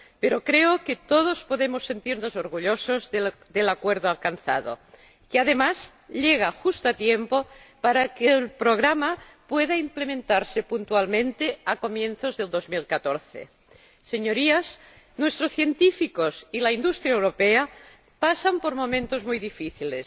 Pero creo que todos podemos sentirnos orgullosos del acuerdo alcanzado, que además llega justo a tiempo para que el programa pueda implementarse puntualmente a comienzos del año 2014. Señorías, nuestros científicos y la industria europea pasan por momentos muy difíciles,